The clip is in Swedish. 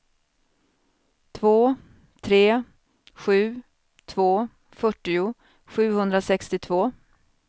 två tre sju två fyrtio sjuhundrasextiotvå